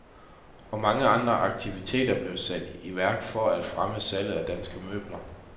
Og mange andre aktiviteter blev sat i værk for at fremme salget af danske møbler.